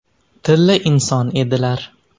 Tilla inson edilar.